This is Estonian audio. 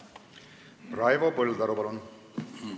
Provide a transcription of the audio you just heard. Raivo Põldaru, palun!